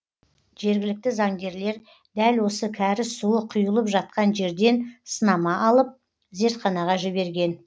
жергілікті заңгерлер дәл осы кәріз суы құйылып жатқан жерден сынама алып зертханаға жіберген